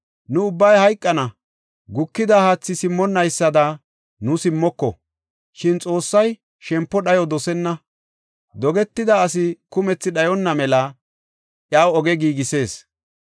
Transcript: Nu ubbay hayqana; gukida haathi simmonnaysada nu simmoko. Shin Xoossay shempo dhayo dosenna; dogetida asi kumethi dhayonna mela iyaw oge giigisees.